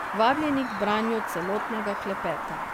Vabljeni k branju celotnega klepeta.